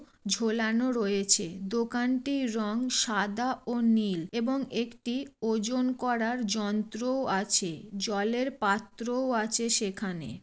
ঝোলানো রয়েছে দোকানটির রং সাদা ও নীল এবং একটি ওজন করার যন্ত্রও আছে জলের পাত্রও আছে সেখানে।